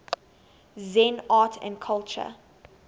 zen art and culture